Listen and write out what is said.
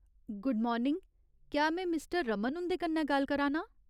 Good morning, क्या में mister Raman हुंदे कन्नै गल्ल करा नां?